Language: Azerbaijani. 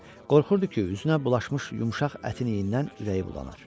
Qorxurdu ki, üzünə bulaşmış yumşaq ətin iyindən ürəyi bulanır.